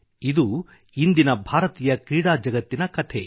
ಇದು ಇಂದಿನ ಭಾರತೀಯ ಕ್ರೀಡಾ ಜಗತ್ತಿನ ಕಥೆ